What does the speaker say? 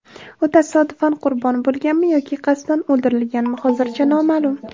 U tasodifan qurbon bo‘lganmi yoki qasddan o‘ldirilganmi, hozircha noma’lum.